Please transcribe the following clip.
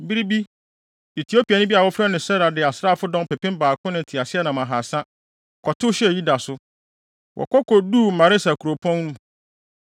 Bere bi, Etiopiani bi a wɔfrɛ no Serah de asraafodɔm ɔpepem baako ne nteaseɛnam ahaasa, kɔtow hyɛɛ Yuda so. Wɔkɔ koduu Maresa kuropɔn mu.